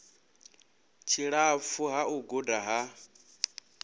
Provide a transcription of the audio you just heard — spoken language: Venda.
tshilapfu ha u guda ha